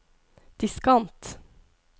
diskant